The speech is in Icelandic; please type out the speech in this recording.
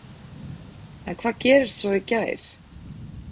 En hvað gerist svo í gær?